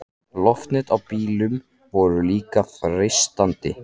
Loftnet á bílum voru líka freistandi.